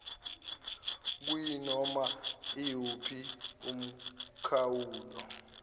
kuyinoma iwuphi umkhawulo